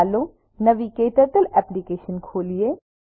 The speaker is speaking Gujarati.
ચાલો નવી ક્ટર્ટલ એપ્લિકેશન ખોલીએ